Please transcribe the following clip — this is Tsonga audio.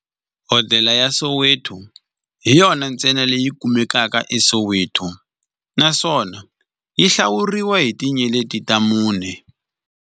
Hodela ya Soweto hi yona ntsena leyi kumekaka eSoweto, naswona yi hlawuriwa hi tinyeleti ta mune.